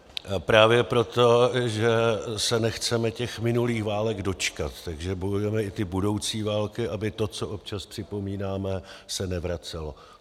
Právě proto, že se nechceme těch minulých válek dočkat, tak bojujeme i ty budoucí války, aby to, co občas připomínáme, se nevracelo.